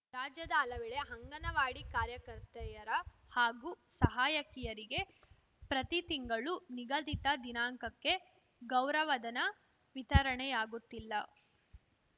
ರಾಜ್ಯದ ಹಲವೆಡೆ ಹಂಗನವಾಡಿ ಕಾರ್ಯಕರ್ತೆಯರ ಹಾಗೂ ಸಹಾಯಕಿಯರಿಗೆ ಪ್ರತಿ ತಿಂಗಳೂ ನಿಗದಿತ ದಿನಾಂಕಕ್ಕೆ ಗೌರವಧನ ವಿತರಣೆಆಗುತ್ತಿಲ್ಲ